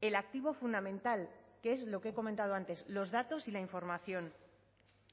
el activo fundamental que es lo que he comentado antes los datos y la información